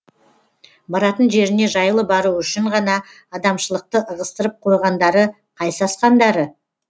баратын жеріне жайлы баруы үшін ғана адамшылықты ығыстырып қойғандары қай сасқандары